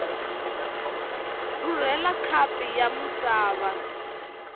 rhurhela khapu ya misava ya